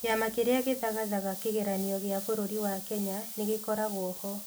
Kĩama Kĩrĩa Gĩthagathaga Kĩgeranio gĩa bũrũri wa Kenya nĩ gĩkoragwo ho.